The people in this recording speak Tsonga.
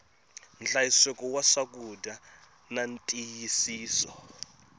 nhlayiseko wa swakudya na ntiyisiso